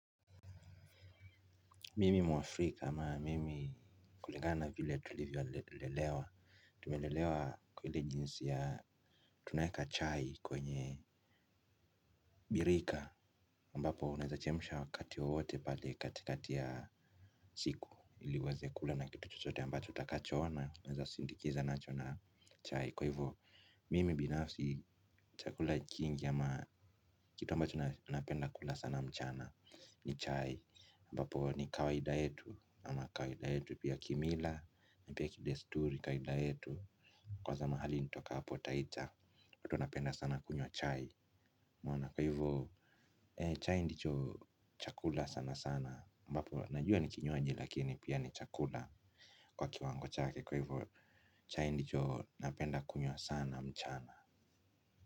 Mimi mwafrika ama mimi kulingana na vile tulivyolelewa. Tumelelewa kwa ile jinsi ya tunaeka chai kwenye birika ambapo unaeza chemsha wakati wowoote pale kati kati ya siku. Ili uweze kula na kitu chote ambacho utakachoona. Unaeza sindikiza nacho na chai. Kwa hivyo mimi binafsi chakula kingi ama kitu ambacho napenda kula sana mchana. Ni chai ambapo ni kawaida yetu. Ama kawida yetu pia kimila na pia kidesturi kawaida yetu watu wanapenda sana kunywa chai. Unaona kwa hivyo ee chai ndicho chakula sana sana ambapo najua ni kinywaji lakini pia ni chakula kwa kiwango chake kwa hivyo chai ndicho napenda kunyo sana mchana.